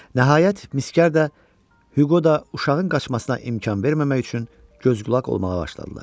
Nəhayət, miskər də Hüqo da uşağın qaçmasına imkan verməmək üçün göz-qulaq olmağa başladılar.